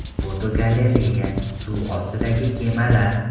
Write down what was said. Fotogalereya: Suv ostidagi kemalar.